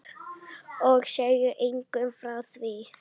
Og segja engum frá því.